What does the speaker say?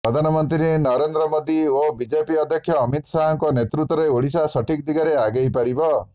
ପ୍ରଧାନମନ୍ତ୍ରୀ ନରେନ୍ଦ୍ର ମୋଦୀ ଓ ବିଜେପି ଅଧ୍ୟକ୍ଷ ଅମିତ ଶାହଙ୍କ ନେତୃତ୍ୱରେ ଓଡ଼ିଶା ସଠିକ୍ ଦିଗରେ ଆଗେଇ ପାରିବ